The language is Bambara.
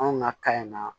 Anw ka kan ina